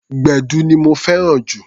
Gbẹ̀du ni mo fẹ́ràn jù.